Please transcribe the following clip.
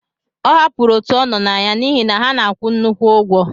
Ọ hapụrụ òtù ọ nọ na ya n'ihi na ha na-akwụ nnukwu ụgwọ.